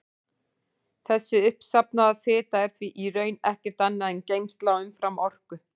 Þessi uppsafnaða fita er því í raun ekkert annað en geymsla á umframorku.